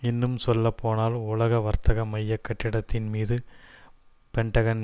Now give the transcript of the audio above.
இன்னும் சொல்லப்போனால் உலக வர்த்தக மைய கட்டிடத்தின் மீதும் பென்டகன்